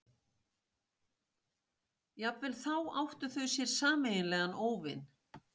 Jafnvel þá áttu þau sér sameiginlegan óvin.